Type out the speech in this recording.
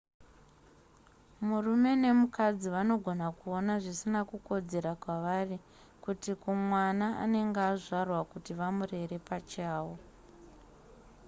murume nemukadzi vanogona kuona zvisina kukodzera kwavari kana kuti kumwana anenge azvarwa kuti vamurere pachavo